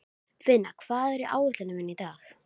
Finna, hvað er á áætluninni minni í dag?